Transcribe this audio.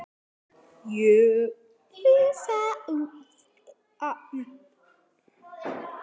Ég sá það seinna.